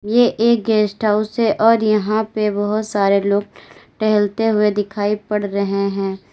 ये एक guest house है और यहां पे बहुत सारे लोग टहलते हुए दिखाई पड़ रहे हैं।